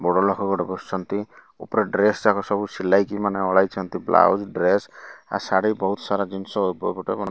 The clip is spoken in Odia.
ବଡ ଲୋକ ଗୋଟେ ବସିଛନ୍ତି ଉପରେ ଡ୍ରେସ ଯାକ ସବୁ ସିଲାଇକି ମାନେ ଓହ୍ଲାଇଛନ୍ତି ବ୍ଲାଉଜ ଡ୍ରେସ ଆଉ ଶାଢ଼ୀ ବହୁତ ସାରା ଜିନିଷ ଉଭୟ ପଟେ ବନା --